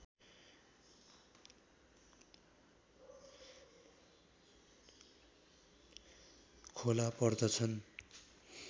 खोला पर्दछन्